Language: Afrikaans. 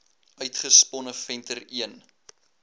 uitgesponne venter l